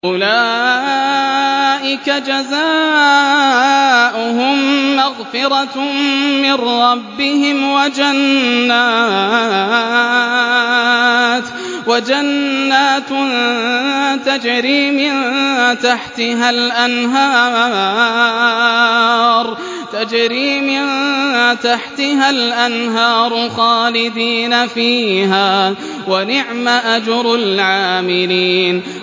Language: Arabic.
أُولَٰئِكَ جَزَاؤُهُم مَّغْفِرَةٌ مِّن رَّبِّهِمْ وَجَنَّاتٌ تَجْرِي مِن تَحْتِهَا الْأَنْهَارُ خَالِدِينَ فِيهَا ۚ وَنِعْمَ أَجْرُ الْعَامِلِينَ